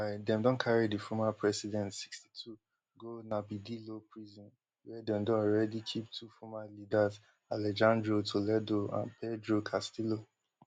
meanwhile dem don carry di former president sixty-two go narbadillo prison wia dem don alreadi keep two former leaders alejandro toledo and pedro castillo